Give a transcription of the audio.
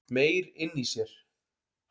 Meyr inni í sér